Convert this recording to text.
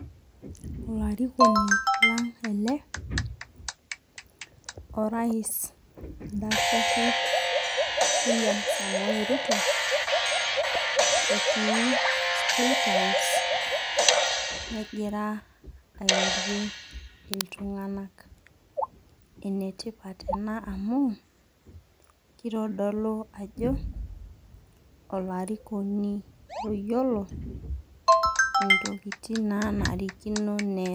Olarikoni lang ele orais oldakitari William Samoe Ruto etii state house negira airorie iltunganak. Enetipat ena amu, kitodolu ajo olarikoni oyiolo intokitin nanarikino neas.